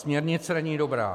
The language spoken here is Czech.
Směrnice není dobrá.